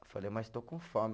Eu falei, mas estou com fome.